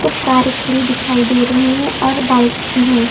कुछ कार खड़ी दिखाई दे रही हैं और बाइक्स भी हैं।